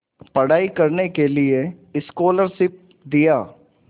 पढ़ाई करने के लिए स्कॉलरशिप दिया